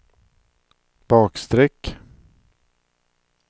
bakstreck